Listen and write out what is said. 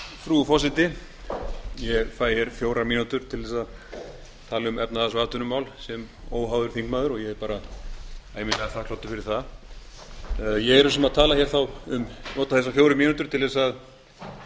frú forseti ég fær hér fjórar mínútur til þess að tala um efnahags og atvinnumál sem óháður þingmaður og ég er bara þakklátur fyrir það ég er að hugsa um að nota þessar fjórar mínútur til að tala